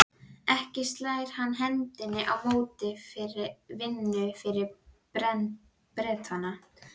Ekki slær hann hendinni á móti vinnu fyrir Bretana.